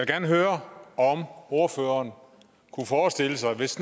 gerne høre om ordføreren kunne forestille sig hvis